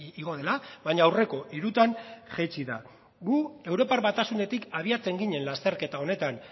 igo dela baina aurreko hirutan jaitsi da gu europar batasunetik abiatzen ginen lasterketa honetan